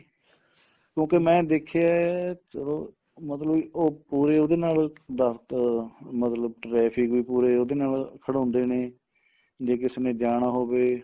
ਕਿਉਂਕਿ ਮੈਂ ਦੇਖਿਆ ਚਲੋ ਮਤਲਬ ਕੋਈ ਉਹਦੇ ਨਾਲ ਦਸਤ ਮਤਲਬ ਵੈਸੇ ਵੀ ਪੂਰੇ ਉਹਦੇ ਨਾਲ traffic ਖੜਾਉਂਦੇ ਨੇ ਜੇ ਕਿਸੇ ਨੇ ਜਾਣਾ ਹੋਵੇ